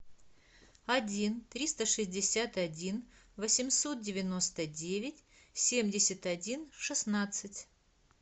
один триста шестьдесят один восемьсот девяносто девять семьдесят один шестнадцать